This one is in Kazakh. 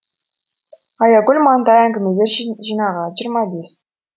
аягүл мантай әңгімелер жинағы жиырма бес